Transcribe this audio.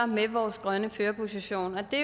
med vores grønne førerposition og det